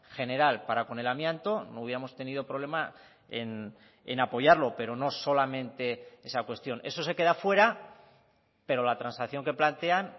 general para con el amianto no hubiéramos tenido problema en apoyarlo pero no solamente esa cuestión eso se queda fuera pero la transacción que plantean